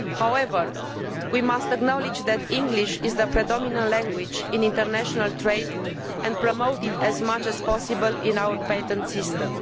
However, we must acknowledge that English is the predominant language in international trade and promote it as much as possible in our patent system.